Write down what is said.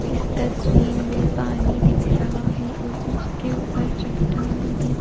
इस तस्वीर में पानी दिख रहा है और उसके ऊपर चट्टाने भी --